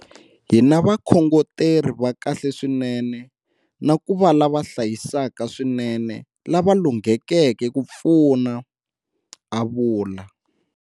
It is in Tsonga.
Hi na vakhongoteri va kahle swinene na ku va lava hlayisaka swinene lava lunghekeke ku pfuna, a vula.